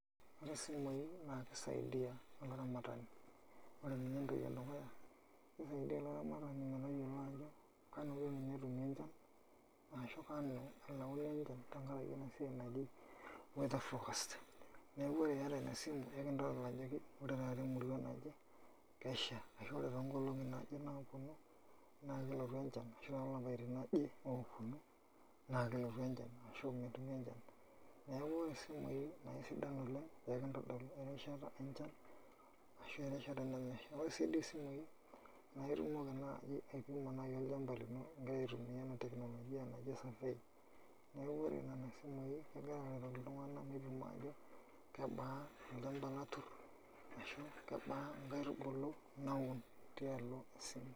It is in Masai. Ore simui na kisaidia olaramatani. Ore ninye entoki edukuya, kisaidia olaramatani metayiolo ajo kanu kenya etumi enchan, ashu kanu elauni tenkaraki enasiai naji weather forecast. Neeku ore iyata inasimu, ekintodol ajoki ore taata emurua naje, kesha. Ashu ore tonkolong'i naje naponu, na kelotu enchan tolapaitin oje oponu, naa kelotu enchan. Ashu metumi enchan. Neeku ore simui na aisidan oleng, ekintodol erishata enchan, ashu erishata nemesha. Ore si duo simui, na itumoki naji aipimo olchamba lino igira aitumia ena teknolojia naji survey. Neeku ore nena simui kegira aretoki iltung'anak petum ajo kebaa olchamba latur, ashu kebaa nkaitubulu naun tialo esiai.